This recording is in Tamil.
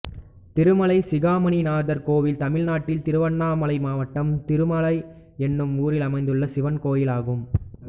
திருமலை சிகாமணிநாதர் கோயில் தமிழ்நாட்டில் திருவண்ணாமலை மாவட்டம் திருமலை என்னும் ஊரில் அமைந்துள்ள சிவன் கோயிலாகும்